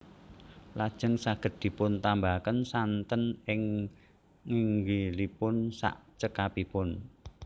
Lajeng saged dipun tambahaken santen ing nginggilipun sak cekapipun